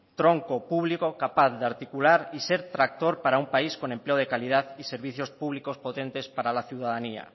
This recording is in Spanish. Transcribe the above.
tronco público capaz de articular y ser tractor para un país con empleo de calidad y servicios públicos potentes para la ciudadanía